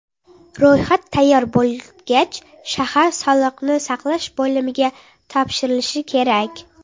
Ro‘yxat tayyor bo‘lgach, shahar sog‘liqni saqlash bo‘limiga topshirilishi kerak.